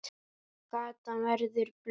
Gatan verður blaut.